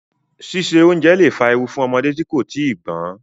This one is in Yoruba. Síse oúnjẹ lẹ̀ fa ewu fún ọmọdé tí kò tíì gbọ́n.